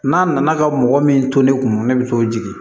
N'a nana ka mɔgɔ min to ne kun ne bi t'o jigin